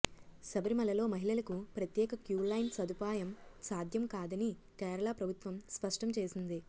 శబరిమలలో మహిళలకు ప్రత్యేక క్యూలైన్ సదుపాయం సాధ్యం కాదని కేరళ ప్రభుత్వం స్పష్టం చేసింది